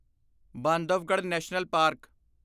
Bandhavgarh national park